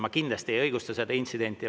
Ma kindlasti ei õigusta seda intsidenti.